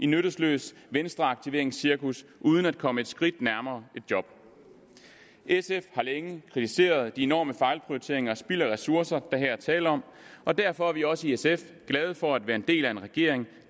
nyttesløst venstreaktiveringscirkus uden at komme et skridt nærmere et job sf har længe kritiseret de enorme fejlprioriteringer spild af ressourcer der her er tale om og derfor er vi også i sf glade for at være en del af en regering